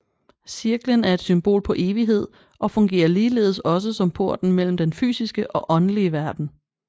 Cirklen er et symbol på evighed og fungerer ligeledes også som porten mellem den fysiske og åndelig verden